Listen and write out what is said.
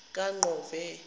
kaqove